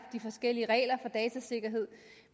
forskellige regler for datasikkerhed